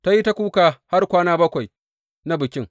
Ta yi ta kuka har kwana bakwai na bikin.